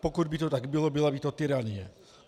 Pokud by to tak bylo, byla by to tyranie.